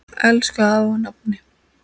Elsku afi og nafni.